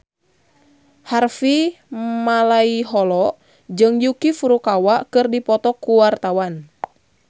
Harvey Malaiholo jeung Yuki Furukawa keur dipoto ku wartawan